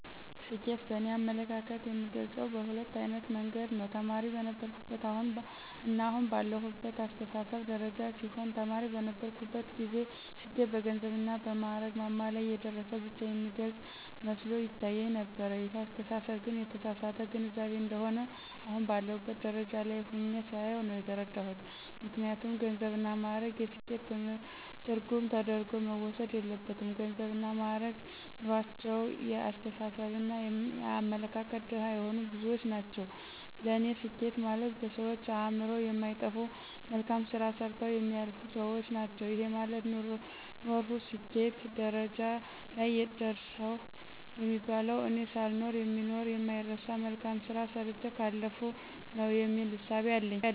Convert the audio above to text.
ስኬትን በእኔ አመለካከት የምገልጸው በሁለት አይነት መንገድ ነው። ተማሪ በነበርሁበትና አሁን ባለሁበት አስተሳሰብ ደረጃ ሲሆን ተማሪ በነበርሁበት ጊዜ ስኬት በገንዘብና በማእረግ ማማ ላይ የደረሰ ብቻ የሚገልጽ መስሎ ይታየኝ ነበር ይሄ አስተሳሰብ ግን የተሳሳተ ግንዛቤ እንደሆነ አሁን ባለሁበት ደረጃ ላይ ሁኘ ሳየው ነው የተረዳሁት። ምክንያቱም ገንዘብና ማእረግ የስኬት ትርጉም ተደርጎ መወሰድ የለበትም ገንዘብና ማእረግ ኑሮአቸው የአስተሳሰብና የአመለካከት ድሀ የሆኑ ብዙዎች ናቸው ለኔ ስኬት ማለት በሰዎች አእምሮ የማይጠፋ መልካም ስራ ሰርተው የሚያልፉ ሰዎች ናቸው። ይሄ ማለት ኖርሁ ስኬት ደረጃ ላይ ደረሰሁ የሚባለው እኔ ሳልኖር የሚኖር የማይረሳ መልካም ስራ ሰርቸ ካለፍሁ ነው የሚል እሳቤ አለኝ።